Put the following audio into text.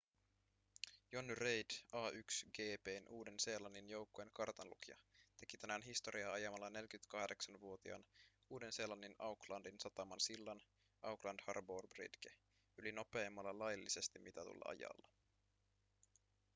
jonny reid a1gp:n uuden-seelannin joukkueen kartanlukija teki tänään historiaa ajamalla 48-vuotiaan uuden-seelannin aucklandin sataman sillan auckland harbour bridge yli nopeimmalla laillisesti mitatulla ajalla